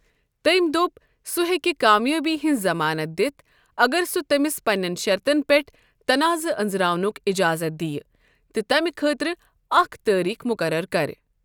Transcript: تٔمۍ دوٚپ سُہ ہیٚکہِ کامیٲبی ہنز ضمانت دِتھ اگر سۄ٘ تٔمِس پنین شرطن پیٹھ تناضہٕ أنٛزراونُک اِجازت دِیہِ، تہٕ تمہِ خٲطرٕ اَکھ تٲریٖخ مُقرر کَرِ ۔